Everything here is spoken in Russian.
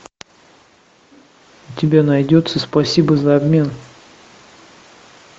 у тебя найдется спасибо за обмен